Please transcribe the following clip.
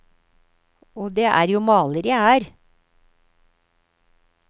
Og det er jo maler jeg er.